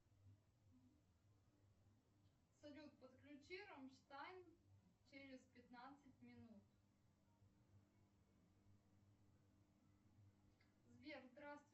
салют подключи раммштайн через пятнадцать минут сбер здравствуй